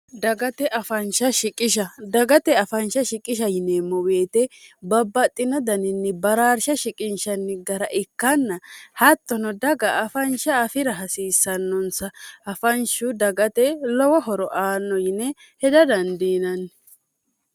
dgtedagate afaansha shiqisha yineemmo weete babbaxxino daninni baraarsha shiqinshanni gara ikkanna hattono daga afaansha afira hasiissannonsa afanshu dagate lowo horo aanno yine heda dandiinanni